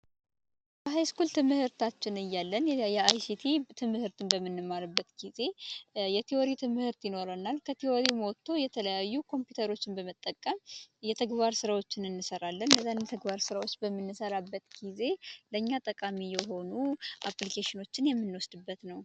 በሀይስኩል ትምህርት እያለን የአይሲቲ ትምህርትን በምንማርበት ጊዜ የቲወሪ ትምህርት ይኖረናል ከቲወሪም ወጦ የተለያዩ ኮምፒውተሮች በመጠቀም የተግባር ስራዎችን እንሰራለን እነዛን የተግባር ስራዎች በምንሰራበት ጊዜ ለኛ ጠቃሚ የሆኑ አፕሊኬሽኖችን የምንወስድበት ነው።